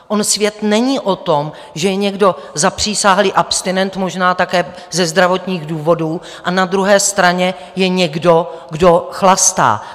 On svět není o tom, že je někdo zapřisáhlý abstinent, možná také ze zdravotních důvodů, a na druhé straně je někdo, kdo chlastá.